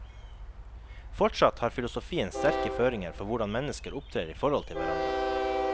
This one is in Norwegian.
Fortsatt har filosofien sterke føringer for hvordan mennesker opptrer i forhold til hverandre.